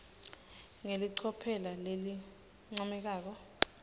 ngelicophelo lelincomekako